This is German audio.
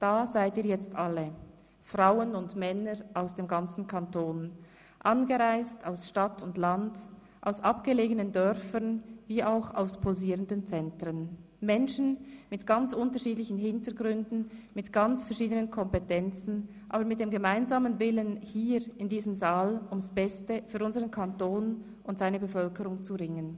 Da seid ihr jetzt alle, Frauen und Männer aus dem ganzen Kanton, angereist aus Stadt und Land, aus abgelegenen Dörfern wie auch aus pulsierenden Zentren, Menschen mit ganz unterschiedlichen Hintergründen, mit ganz verschiedenen Kompetenzen, aber mit dem gemeinsamen Willen, hier in diesem Saal ums Beste für unsern Kanton und seine Bevölkerung zu ringen.